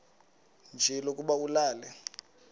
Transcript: nje lokuba ulale